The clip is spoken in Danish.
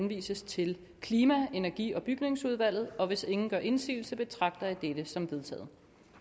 henvises til klima energi og bygningsudvalget og hvis ingen gør indsigelse betragter jeg dette som vedtaget